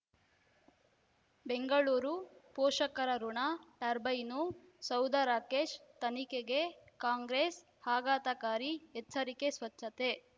ಬೆಂಗಳೂರು ಪೋಷಕರಋಣ ಟರ್ಬೈನು ಸೌಧ ರಾಕೇಶ್ ತನಿಖೆಗೆ ಕಾಂಗ್ರೆಸ್ ಆಘಾತಕಾರಿ ಎಚ್ಚರಿಕೆ ಸ್ವಚ್ಛತೆ